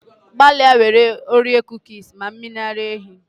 Gbalịa were kuki Oreo were mmiri ara ehi were were.